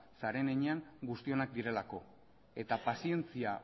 zaren heinean guztionak direlako eta pazientzia